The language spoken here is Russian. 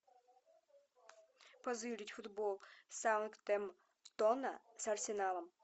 позырить футбол саутгемптона с арсеналом